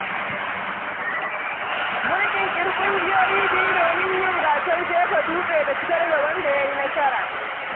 Mun ƙirƙiri ƙungiyoyi biyu domin yin gasar jefa dutse da fitar da wanda ya yi nasara.